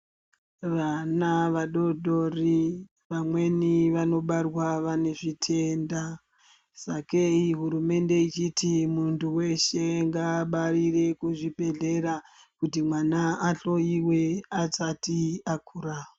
Vana vadoodori vamweni vanobarwa vane zvitenda sakei hurumende ichiti muntu weshe ngaabarire kuzvibhedhlera kuti mwana ahloyiwe asati akura.